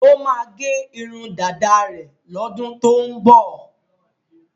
Ó máa gẹ irun dáda rẹ̀ lọ́dún tó ń bọ̀.